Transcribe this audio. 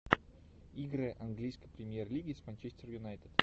игры английской премьер лиги с манчестер юнайтед